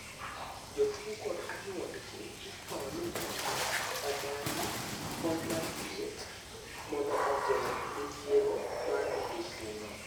Jotuo kod anyuondgi ikwayo ni mondo omany kony mar thieth mondo ogeng' midhiero mar midekre no.